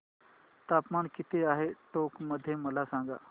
तापमान किती आहे टोंक मध्ये मला सांगा